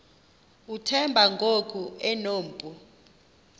uthemba ngoku enompu